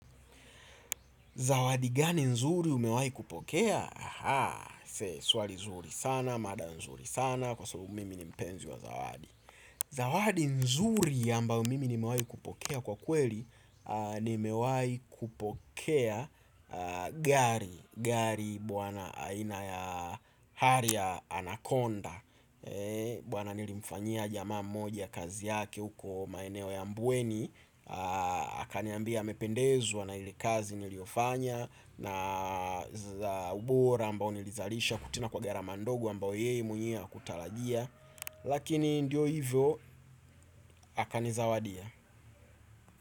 Zawadi gani nzuri umewahi kupokea? Aha, se, swali nzuri sana, mada nzuri sana, kwa so mimi ni mpenzi wa zawadi. Zawadi nzuri ambayo mimi nimewahi kupokea kwa kweli, nimewai kupokea gari. Gari bwana aina ya harrier ya Anaconda. Bwana nilimfanyia jamaa moja kazi yake uko maeneo ya mbweni. Akaniambia mependezwa na ile kazi niliofanya na za ubora ambao nilizalisha kutokana kwa garama ndogo ambao yeye mwenyewe hakutarajia. Lakini ndio hivyo akanizawadia.